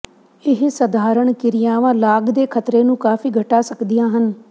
ਇਹ ਸਧਾਰਨ ਕਿਰਿਆਵਾਂ ਲਾਗ ਦੇ ਖ਼ਤਰੇ ਨੂੰ ਕਾਫ਼ੀ ਘਟਾ ਸਕਦੀਆਂ ਹਨ